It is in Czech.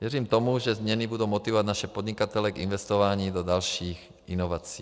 Věřím tomu, že změny budou motivovat naše podnikatele k investování do dalších inovací.